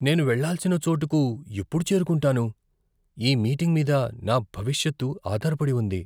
నేను వెళ్ళాల్సిన చోటుకు ఎప్పుడు చేరుకుంటాను? ఈ మీటింగ్ మీద నా భవిష్యత్తు ఆధారపడి ఉంది.